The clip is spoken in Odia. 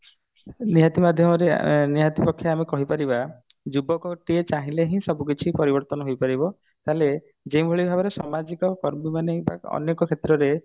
ନିହାତି ମାଧ୍ୟମରେ ନିହାତି ପକ୍ଷେ ଆମେ କହିପାରିବା ଯୁବକଟିଏ ଚାହିଁଲେ ହିଁ ସବୁ କିଛି ପରିବର୍ତନ ହେଇପାରିବ ହେଲେ ଯୋଉଭଳି ଭାବରେ ସମାଜ ପାଇଁ ଅନେକ କ୍ଷେତ୍ରରେ